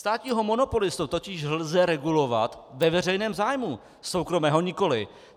Státního monopolistu totiž lze regulovat ve veřejném zájmu, soukromého nikoliv.